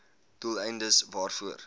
doel eindes waarvoor